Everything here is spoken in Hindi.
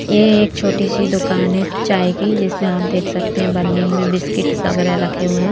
ये एक छोटी सी दुकान है चाय की जिसमें आप देख सकते हैं पन्नी में बिस्किट वगैरा रखे हुए हैं।